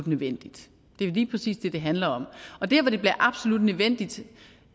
nødvendigt det er lige præcis det det handler om og der hvor det bliver absolut nødvendigt